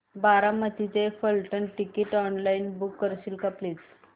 बारामती ते Phaltan ticket online book करशील का प्लीज